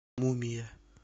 мумия